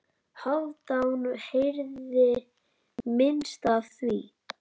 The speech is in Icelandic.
Hálfdán heyrði minnst af því.